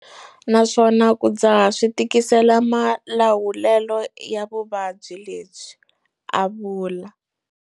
Naswona ku dzaha swi tikisela malawulelo ya vuvabyi lebyi, a vula.